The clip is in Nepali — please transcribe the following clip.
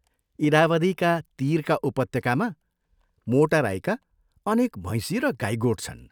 इरावदीका तीरका उपत्यकामा मोटा राईका अनेक भैंसी र गाई गोठ छन्।